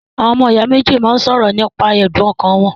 Ọmọ ìyá méjì máa ń ṣọ̀rọ̀ nípa ẹ̀dùn ọkàn wọn.